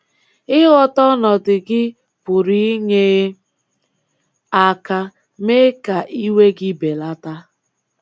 Ịghọta ọnọdụ gị pụrụ inye aka mee ka iwe gị belata.